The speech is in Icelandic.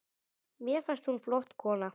Mér fannst hún flott kona.